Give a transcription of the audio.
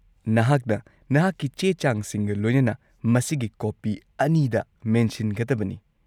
-ꯅꯍꯥꯛꯅ ꯅꯍꯥꯛꯀꯤ ꯆꯦ-ꯆꯥꯡꯁꯤꯡꯒ ꯂꯣꯏꯅꯅ ꯃꯁꯤꯒꯤ ꯀꯣꯄꯤ ꯑꯅꯤꯗ ꯃꯦꯟꯁꯤꯟꯒꯗꯕꯅꯤ ꯫